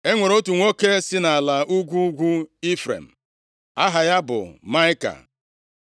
E nwere otu nwoke si nʼala ugwu ugwu Ifrem, aha ya bụ Maịka.